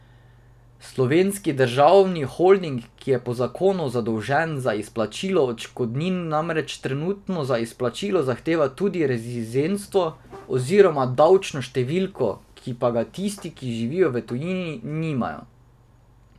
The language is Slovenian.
Slovenski državni holding, ki je po zakonu zadolžen za izplačilo odškodnin, namreč trenutno za izplačilo zahteva tudi rezidentstvo oziroma davčno številko, ki pa ga tisti, ki živijo v tujini, nimajo.